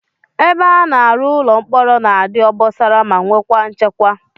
Ebe a na-arụ ụlọ mkpọrọ na-adị obosara ma nwekwara nchekwa